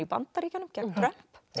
Bandaríkjunum gegn Trump